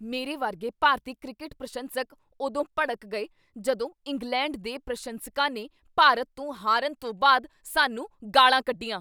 ਮੇਰੇ ਵਰਗੇ ਭਾਰਤੀ ਕ੍ਰਿਕਟ ਪ੍ਰਸ਼ੰਸਕ ਉਦੋਂ ਭੜਕ ਗਏ ਜਦੋਂ ਇੰਗਲੈਂਡ ਦੇ ਪ੍ਰਸ਼ੰਸਕਾਂ ਨੇ ਭਾਰਤ ਤੋਂ ਹਾਰਨ ਤੋਂ ਬਾਅਦ ਸਾਨੂੰ ਗਾਲ੍ਹਾਂ ਕੱਢੀਆਂ।